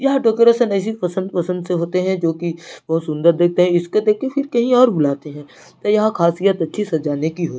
यह डेकोरेशन ऐसी पसंद - पसंद से होते है जो की बहुत सुंदर दिखते हैं इसको देख के फिर कही और बुलाते हैं तो यह खासियत अच्छी सजाने की होती है।